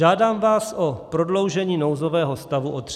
Žádám vás o prodloužení nouzového stavu o 30 dní.